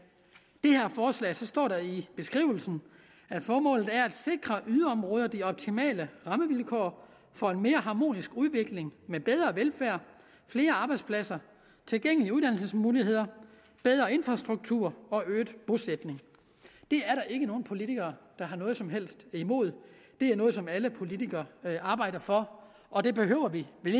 det her forslag så står der i beskrivelsen at formålet er at sikre yderområderne de optimale rammevilkår for en mere harmonisk udvikling med bedre velfærd flere arbejdspladser tilgængelige uddannelsesmuligheder bedre infrastruktur og øget bosætning det er der ikke nogen politikere der har noget som helst imod det er noget som alle politikere arbejder for og det behøver vi vel